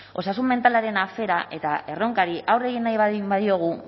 osasun mentalaren afera eta erronkari aurre egin nahi baldin badiogu